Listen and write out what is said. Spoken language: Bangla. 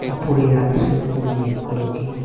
উপরে আকাশে খুব মেঘ করেছে।